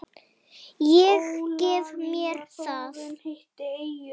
Ég gef mér það.